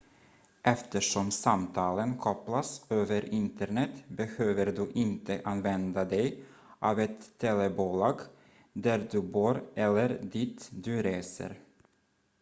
eftersom samtalen kopplas över internet behöver du inte använda dig av ett telebolag där du bor eller dit du reser